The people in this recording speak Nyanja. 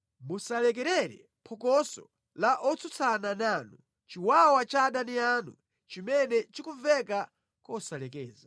Musalekerere phokoso la otsutsana nanu, chiwawa cha adani anu, chimene chikumveka kosalekeza.